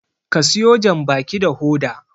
ka siyo janbaki da Hoda!